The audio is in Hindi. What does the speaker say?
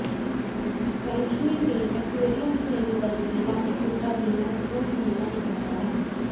फेंगशुई में एक्वेरियम ही नहीं बल्कि लाफिंग बुद्धा भी महत्वपूर्ण भूमिका निभाता है